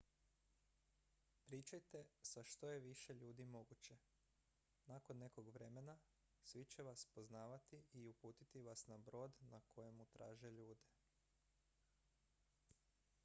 pričajte sa što je više ljudi moguće nakon nekog vremena svi će vas poznavati i uputiti vas na brod na kojemu traže ljude